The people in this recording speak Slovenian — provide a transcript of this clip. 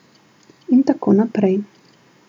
In tako naprej.